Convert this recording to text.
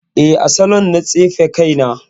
Eh, a saloon na tsefe kaina